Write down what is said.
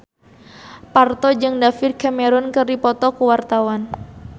Parto jeung David Cameron keur dipoto ku wartawan